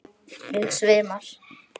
Mig svimar.